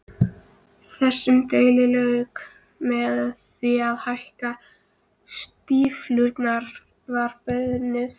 Þessum deilum lauk með því að hækkun stíflunnar var bönnuð.